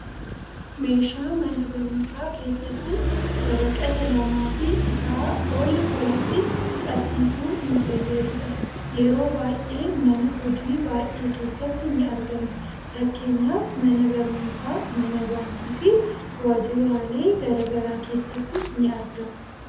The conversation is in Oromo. Meeshaa mana barumsaa keessatti waraqata lamaafi isaa ol walitti qabsiisuun nu fayyadudha. Yeroo baayyee mana hojii baayyee keessatti ni argama .fakkeenyaaf mana barnootaa, mana baankii fi waajiraalee gara garaa keessatti ni argama.